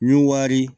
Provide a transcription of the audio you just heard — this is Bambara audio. Nun wari